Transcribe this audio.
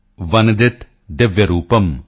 ਵੰਦਿਤ ਦਿਵਯ ਰੂਪਮ੍